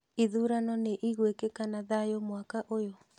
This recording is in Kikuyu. Ithurano nĩ igwĩkĩka na thayũ mwaka ũyũ?